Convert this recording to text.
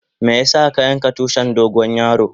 Meya sa ka yanka tushin dogo yaro?